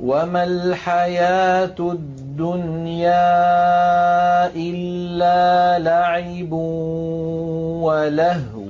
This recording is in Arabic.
وَمَا الْحَيَاةُ الدُّنْيَا إِلَّا لَعِبٌ وَلَهْوٌ ۖ